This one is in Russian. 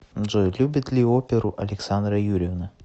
джой любит ли оперу александра юрьевна